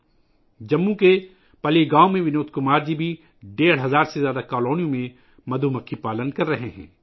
ونود کمار جی جموں کے پلّی گاؤں میں ڈیڑھ ہزار سے زیادہ کالونیوں میں شہد کی مکھیاں پال رہے ہیں